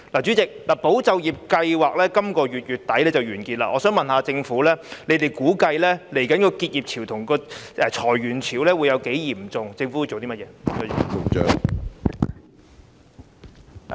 主席，"保就業"計劃將於本月底完結，我想問政府，即將出現的結業潮和裁員潮估計會有多嚴重？